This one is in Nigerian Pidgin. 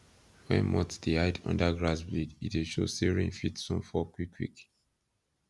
when moths dey hide under grass blade e dey show say rain fit soon fall quick quick